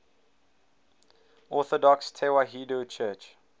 orthodox tewahedo church